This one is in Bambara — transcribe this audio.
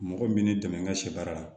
Mɔgɔ min bɛ ne dɛmɛ n ka sɛ baara la